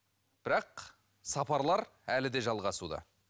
бірақ сапарлар әлі де жалғасуда